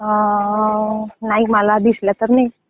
अं, नाही मला दिसला तर नाही.